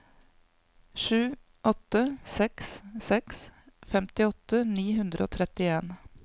sju åtte seks seks femtiåtte ni hundre og trettien